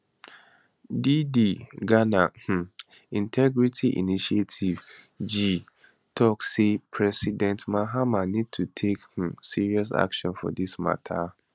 di di ghana um integrity initiative gii tok say president mahama need to take um serious action for dis mata